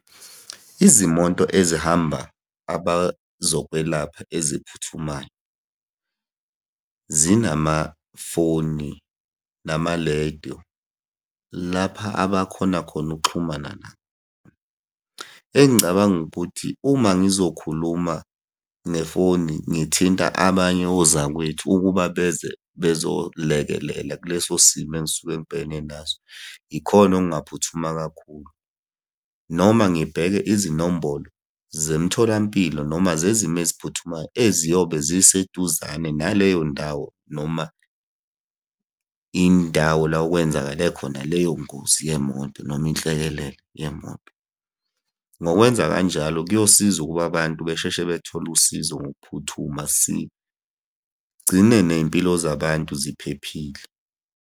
Izimoto ezihamba abazokwelapha eziphuthumayo, zinamafoni, namalediyo. Lapha abakhona khona ukuxhumana nabo. Engicabanga ukuthi uma ngizokhuluma nefoni ngithinta abanye ozakwethu ukuba beze bezolekelela kuleso simo engisuke ngibhekene naso. Yikhona okungaphuthuma kakhulu, noma ngibheke izinombolo zemitholampilo noma zezimo eziphuthumayo eziyobe ziseduzane naleyo ndawo noma indawo la okwenzakale khona leyo ngozi yemoto, noma inhlekelele yemoto. Ngokwenza kanjalo kuyosiza ukuba abantu besheshe bethole usizo ngokuphuthuma, sigcine ney'mpilo zabantu ziphephile.